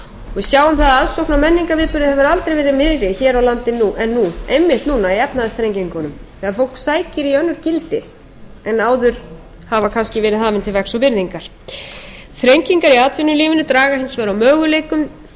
við sjáum að aðsókn að menningarviðburðum hefur aldrei verið meiri hér á landi en nú einmitt núna í efnahagsþrengingunum þegar fólk sækir í önnur gildi en áður hafa kannski verið hafin til vegs og virðingar þrengingar í atvinnulífinu draga hins vegar úr möguleikum